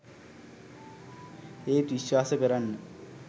ඒත් විශ්වාස කරන්න